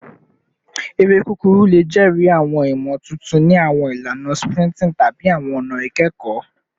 Ere kukuru le jẹri awọn imotuntun ni awọn ilana sprinting tabi awọn ọna ikẹkọ